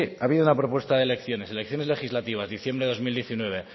ha habido una propuesta de elecciones elecciones legislativa diciembre dos mil diecinueve